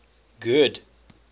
good